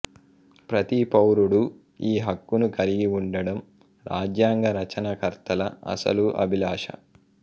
ప్రతి పౌరుడూ ఈ హక్కును కలిగివుండడం రాజ్యాంగ రచనకర్తల అసలు అభిలాష